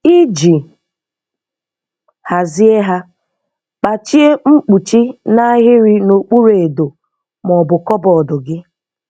Iji hazie ha, kpachie mkpuchi n'ahịrị n'okpuru edo ma ọ bụ kọbọd gị.